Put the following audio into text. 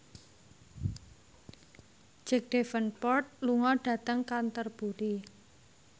Jack Davenport lunga dhateng Canterbury